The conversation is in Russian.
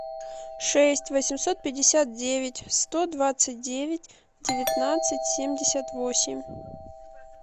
шесть восемьсот пятьдесят девять сто двадцать девять девятнадцать семьдесят восемь